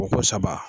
Ko ko saba